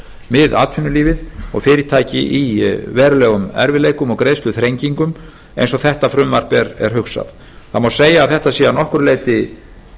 við atvinnulífið og fyrirtæki í verulegum erfiðleikum og greiðsluþrengingum eins og þetta frumvarp er hugsað það má segja að þetta sé að nokkru leyti